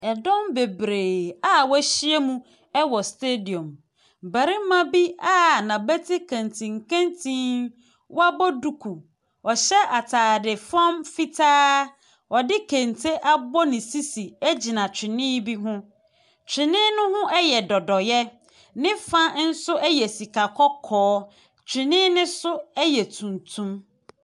Dɔm bebree a wɔahyia mu wɔ stadium, barima bi a n’abati nkentinkentinn wabɔ duku a ɔhyɛ ataare fam fitaa, ɔde kente abɔ ne sisi gyina twene bi ho, twene ne ho yɛ dɔdɔeɛ, ne fa nso yɛ sika kɔkɔɔ, twene ne so yɛ tuntum.